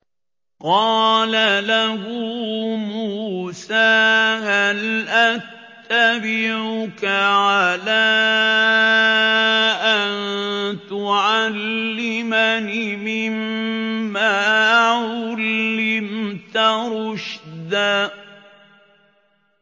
قَالَ لَهُ مُوسَىٰ هَلْ أَتَّبِعُكَ عَلَىٰ أَن تُعَلِّمَنِ مِمَّا عُلِّمْتَ رُشْدًا